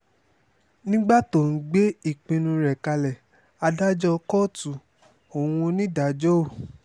nígbà tó ń gbé ìpinnu rẹ̀ kalẹ̀ adájọ́ kóòtù ohun onídàájọ́ òò